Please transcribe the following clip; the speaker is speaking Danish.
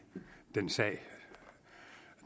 den sag